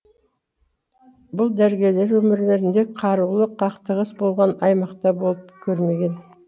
бұл дәрігерлер өмірлерінде қарулы қақтығыс болған аймақта болып көрмеген